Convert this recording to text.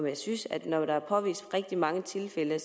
jeg synes at når der er påvist rigtig mange tilfælde